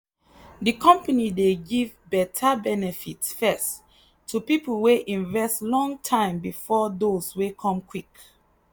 the company dey give better benefits first to people wey invest long time before those wey come quick.